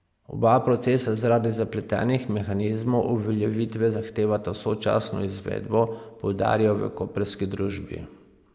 Oba procesa zaradi zapletenih mehanizmov uveljavitve zahtevata sočasno izvedbo, poudarjajo v koprski družbi.